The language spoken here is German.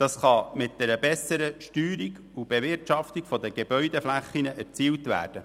Das kann mit einer besseren Steuerung und Bewirtschaftung der Gebäudeflächen erzielt werden.